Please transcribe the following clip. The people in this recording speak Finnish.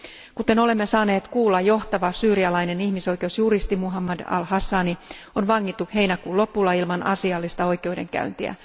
Kuten olemme saaneet kuulla, johtava syyrialainen ihmisoikeusjuristi Muhannad al Hassani on vangittu heinäkuun lopulla ilman asiallista oikeudenkäyntiä.